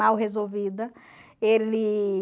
Mal resolvida. Ele...